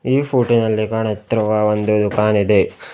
ಈ ಫೋಟೋ ನಲ್ಲಿ ಕಾಣುತ್ತಿರುವ ಒಂದು ದುಖಾನ್ ಇದೆ.